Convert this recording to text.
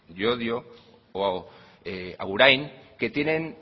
llodio o agurain que tienen